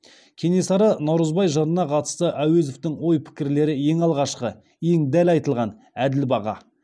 кенесары наурызбай жырына қатысты әуезовтің ой пікірлері ең алғашқы ең дәл айтылған әділ баға